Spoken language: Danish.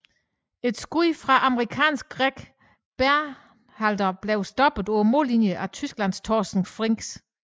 Et skud fra amerikanske Gregg Berhalter blev stoppet på mållinjen af Tysklands Torsten Frings